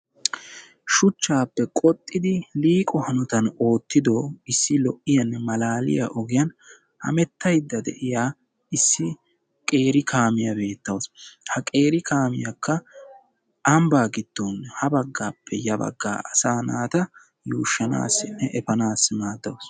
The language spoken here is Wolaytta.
Shuchchaappe qoxxidi liiqo hanotan oottido issi lo"iyanne malaaliya ogiyan hemettaydda de"iya issi qeeri kaamiya beettawus. Ha qeeri kaamiyakka ambbaa giddon ha baggaappe ya baggaa asaa naata yuushshanaassinne efanaassi maaddawus.